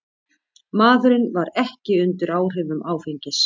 Maðurinn var ekki undir áhrifum áfengis